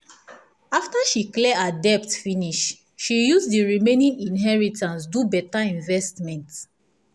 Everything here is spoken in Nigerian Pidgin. after she clear her debt finish she use the remaining inheritance do better investment.